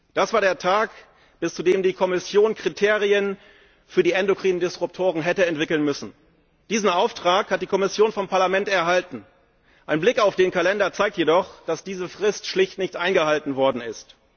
Das war der Tag, bis zu dem die Kommission Kriterien für die endokrinen Disruptoren hätte entwickeln müssen. Diesen Auftrag hat die Kommission vom Parlament erhalten. Ein Blick auf den Kalender zeigt jedoch, dass diese Frist schlicht nicht eingehalten worden ist.